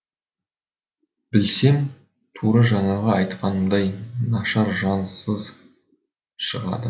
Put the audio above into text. білсем тура жаңағы айтқанымдай нашар жансыз шығады